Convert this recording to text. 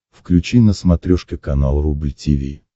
включи на смотрешке канал рубль ти ви